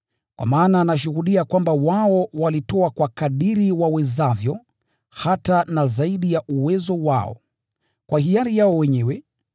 Kwa maana nashuhudia kwamba wao walitoa kwa kadiri wawezavyo, hata na zaidi ya uwezo wao, kwa hiari yao wenyewe,